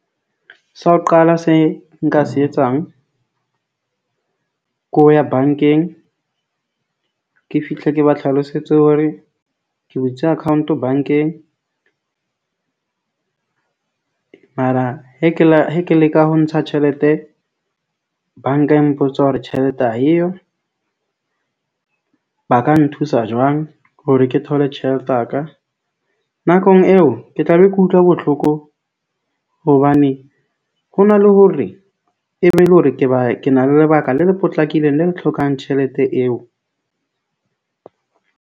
Sa ho qala se nka se etsang, ke ho ya bank-eng, ke fihle ke ba tlhalosetse hore ke butse account-o bank-eng. Mara he ke la he ke leka ho ntsha tjhelete. Bank-a e mpotsa hore tjhelete ha eyo. Ba ka nthusa jwang hore ke thole tjhelete ya ka nakong eo, ke tla be ke utlwa botlhoko hobane ho na le hore e be e le hore ke ba ke na le lebaka le le potlakileng le le tlhokang tjhelete eo.